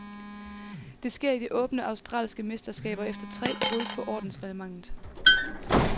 Det sker i de åbne australske mesterskaber efter tre brud på ordensreglementet.